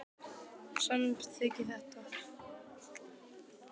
Samþykkið þið þetta?